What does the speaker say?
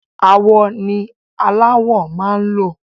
Awọ ni aláwọ máa ń lò